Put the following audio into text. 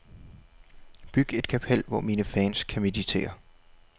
Byg et kapel, hvor mine fans kan meditere.